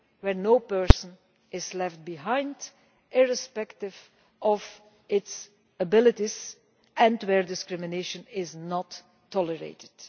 where no person is left behind, irrespective of his or her abilities, and where discrimination is not tolerated.